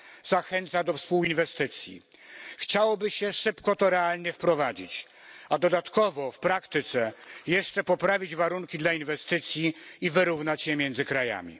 Zachęca do współinwestycji. Chciałoby się szybko realnie to wprowadzić, a dodatkowo poprawić jeszcze w praktyce warunki dla inwestycji i wyrównać je między krajami.